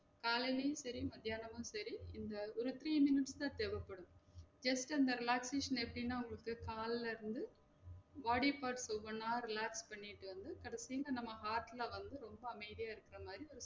காலைலயும் செரி மத்தியானமும் செரி இந்த ஒரு three minutes தான் தேவப்படும் just அந்த relaxation எப்டினா வந்துட்டு கால்ல இருந்து body parts ஒவ்வொன்னா relax பண்ணிட்டு வந்து கடைசில நம்ம heart ல வந்து ரொம்ப அமைதியா இருக்குற மாறி ஒரு